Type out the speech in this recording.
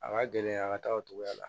A ka gɛlɛn a ka taa o togoya la